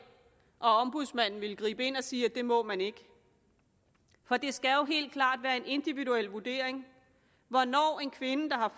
og ombudsmanden ville gribe ind og sige at det må man ikke for det skal jo helt klart være en individuel vurdering hvornår en kvinde der